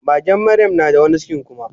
magen maryam nada wani cikin kuma